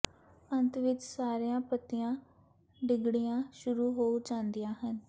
ਅੰਤ ਵਿੱਚ ਸਾਰੀਆਂ ਪੱਤੀਆਂ ਡਿੱਗਣੀਆਂ ਸ਼ੁਰੂ ਹੋ ਜਾਂਦੀਆਂ ਹਨ